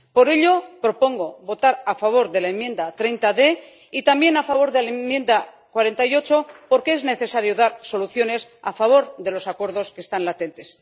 Por ello, propongo votar a favor de la enmienda 30, letra d, y también, a favor de la enmienda 48, porque es necesario dar soluciones a favor de los acuerdos que están latentes.